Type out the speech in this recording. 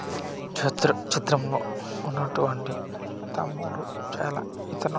చెత్ర చిత్రం లో ఉన్నటువంటి తమ్ముడు చేలా ఇతను--